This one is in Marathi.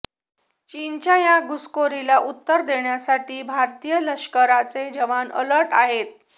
चीनच्या या घुसखोरीला उत्तर देण्यासाठी भारतीय लष्कराचे जवान अलर्ट आहेत